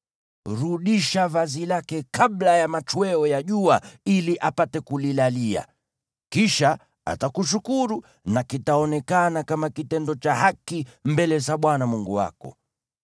Rudisha vazi lake kabla ya machweo ya jua ili apate kulilalia. Kisha atakushukuru na kitaonekana kama kitendo cha haki mbele za Bwana Mungu wako.